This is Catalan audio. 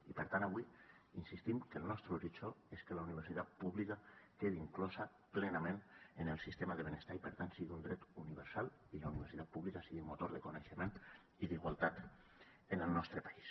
i per tant avui insistim que el nostre horitzó és que la universitat pública quedi inclosa plenament en el sistema de benestar i per tant sigui un dret universal i la universitat pública sigui un motor de coneixement i d’igualtat en el nostre país